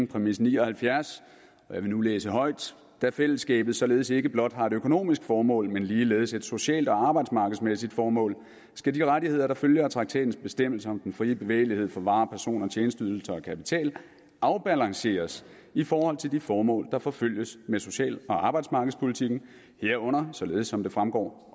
præmis ni og halvfjerds og jeg vil nu læse højt da fællesskabet således ikke blot har et økonomisk formål men ligeledes et socialt og arbejdsmarkedsmæssigt formål skal de rettigheder der følger af traktatens bestemmelser om den frie bevægelighed for varer personer tjenesteydelser og kapital afbalanceres i forhold til de formål der forfølges med social og arbejdsmarkedspolitikken herunder således som det fremgår